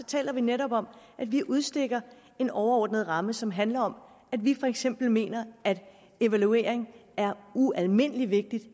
taler vi netop om at vi udstikker en overordnet ramme som handler om at vi for eksempel mener at evaluering er ualmindelig vigtigt